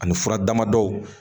Ani fura damadɔw